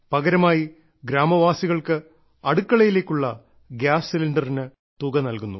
പകരമായി ഗ്രാമവാസികൾക്ക് അടുക്കളയിലേക്കുള്ള ഗ്യാസ് സിലിണ്ടറിന് തുക നൽകുന്നു